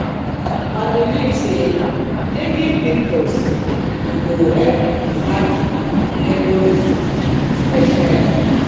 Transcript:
i believe say taking pictures go help preserve di memories of di special day.